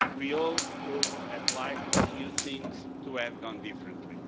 We all would have liked a few things to have gone differently.